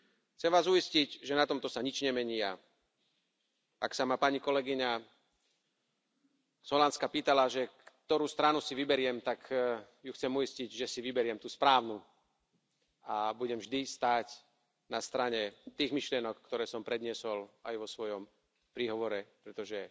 Chcem vás uistiť, že na tomto sa nič nemení, a ak sa ma pani kolegyňa z Holandska pýtala, že ktorú stranu si vyberiem, tak ju chcem uistiť, že si vyberiem tú správnu a budem vždy stáť na strane tých myšlienok, ktoré som predniesol aj vo svojom príhovore, pretože